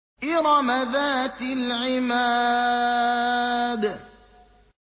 إِرَمَ ذَاتِ الْعِمَادِ